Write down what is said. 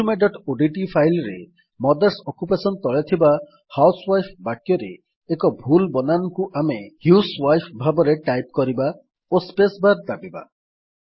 resumeଓଡିଟି file ରେ mothers occupation ତଳେ ଥିବା ହାଉସୱାଇଫ୍ ବାକ୍ୟରେ ଏକ ଭୁଲ ବନାନକୁ ଆମେ ହ୍ୟୁଜୱାଇଫ୍ ଭାବରେ ଟାଇପ୍ କରିବା ଓ ସ୍ପେସ୍ ବାର୍ ଦାବିବା